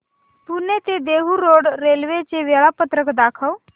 पुणे ते Dehu road railway चे वेळापत्रक दाखव